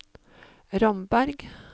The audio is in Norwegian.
Ramberg